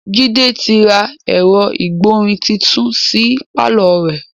Jide ti ra ẹ̀rọ ìgbọ̀rin titun sí pàlọ́ rẹ̀